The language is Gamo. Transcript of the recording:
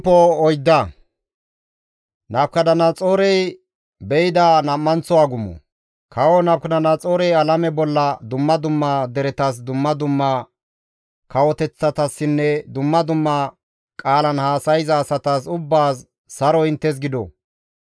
Kawo Nabukadanaxoorey alame bolla dumma dumma deretas, dumma dumma kawoteththatassinne dumma dumma qaalan haasayza asatas ubbaas, Saroy inttes gido!